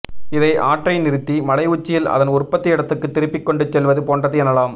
இதை ஆற்றை நிறுத்தி மலையுச்சியில் அதன் உற்பத்தி இடத்துக்கு திருப்பிக்கொண்டுசெல்வது போன்றது எனலாம்